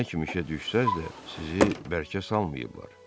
Nə kimi işə düşsəz də, sizi bərkə salmayıblar.